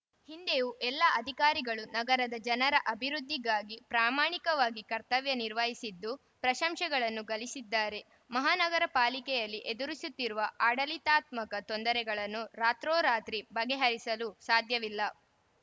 ಹಿಂದೆಯೂ ಎಲ್ಲಾ ಅಧಿಕಾರಿಗಳು ನಗರದ ಜನರ ಅಭಿವೃದ್ಧಿಗಾಗಿ ಪ್ರಾಮಾಣಿಕವಾಗಿ ಕರ್ತವ್ಯ ನಿರ್ವಹಿಸಿದ್ದು ಪ್ರಶಂಸೆಗಳನ್ನು ಗಳಿಸಿದ್ದಾರೆ ಮಹಾನಗರ ಪಾಲಿಕೆಯಲ್ಲಿ ಎದುರಿಸುತ್ತಿರುವ ಆಡಳಿತಾತ್ಮಕ ತೊಂದರೆಗಳನ್ನು ರಾತ್ರೋ ರಾತ್ರಿ ಬಗೆಹರಿಸಲು ಸಾಧ್ಯವಿಲ್ಲ